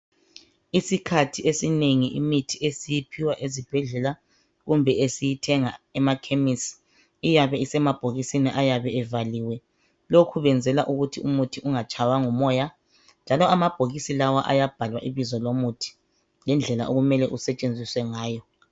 Isikhathi esinengi imithi esiyiphiwa ezibhedlela kumbe esiyithenga emakhemisi iyabe isemabhokisini ayabe evaliwe lokho kwenzelwa ukuthi umuthi ungatshaywa ngumoya njalo amabhokisi lawa ayabhalwa ibizo lomuthi lendlela okumele usetshenziswe ngayo.